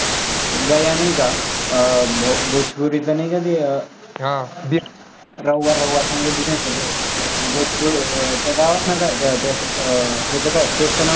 गया नाही का? अं भोजपुरीचं नाही का ते रव्वा, रव्वा सांगितले अं त्या गावाचं नावं काय? अं हेच काय state चं नाव काय?